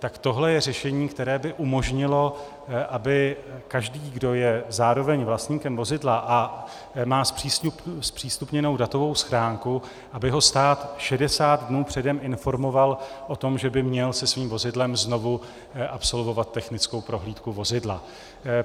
Tak tohle je řešení, které by umožnilo, aby každý, kdo je zároveň vlastníkem vozidla a má zpřístupněnou datovou schránku, aby ho stát 60 dnů předem informoval o tom, že by měl se svým vozidlem znovu absolvovat technickou prohlídku vozidla.